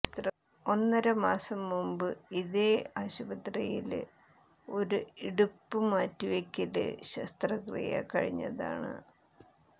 ഒന്നര മാസം മുമ്പ് ഇതേ ആശുപത്രിയില് ഒരു ഇടുപ്പ് മാറ്റിവയ്ക്കല് ശസ്ത്രക്രിയ കഴിഞ്ഞതാണ്